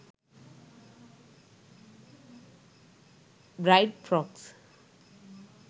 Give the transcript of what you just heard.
bride frocks